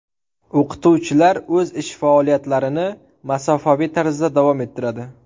O‘qituvchilar o‘z ish faoliyatlarini masofaviy tarzda davom ettiradi.